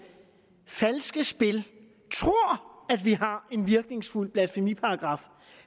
falske spil tror at vi har en virkningsfuld blasfemiparagraf